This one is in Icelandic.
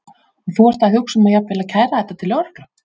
Og þú ert að hugsa um að jafnvel að kæra þetta til lögreglu?